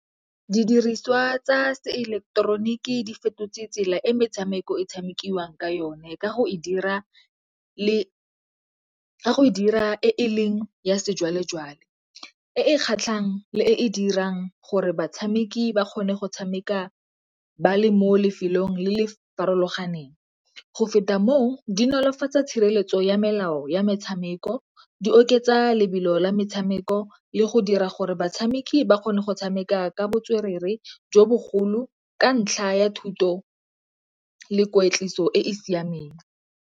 Didiriswa tsa se eleketeroniki di fetotse tsela e metshameko e tshamekiwang ka yone ka go e dira e e leng ya sejwalejwale e e kgatlhang le e e dirang gore batshameki ba kgone go tshameka ba le mo lefelong le le farologaneng. Go feta moo di nolofatsa tshireletso ya melao ya metshameko, di oketsa lebelo la metshameko le go dira gore batshameki ba kgone go tshameka ka botswerere jo bogolo ka ntlha ya thuto le kwetliso e e siameng.